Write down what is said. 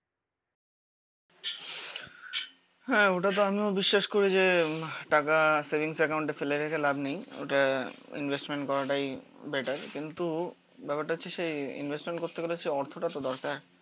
হ্যা ওটাতো আমিও বিশ্বাস করি যে হম টাকা সেভিংস একাউন্টে ফেলে রেখে লাভ নেই, ওটা ইনভেস্টমেন্ট করাটাই বেটার। কিন্তু ব্যাপারটা হচ্ছে সেই ইনভেস্টমেন্ট করতে গেলে সেই অর্থটাতো দরকার